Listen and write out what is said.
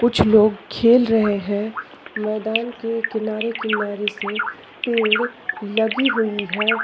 कुछ लोग खेल रहे है। मैदान के किनारे-किनारे से पेड़ लगी हुई है।